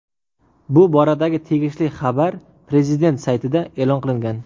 Bu boradagi tegishli xabar prezident saytida e’lon qilingan .